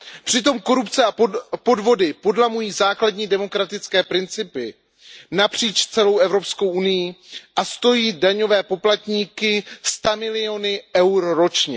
Přitom korupce a podvody podlamují základní demokratické principy napříč celou EU a stojí daňové poplatníky stamiliony EUR ročně.